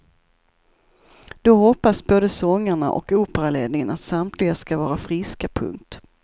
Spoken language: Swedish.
Då hoppas både sångarna och operaledningen att samtliga ska vara friska. punkt